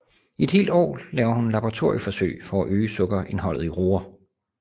I et helt år laver hun laboratorieforsøg for at øge sukkerindholdet i roer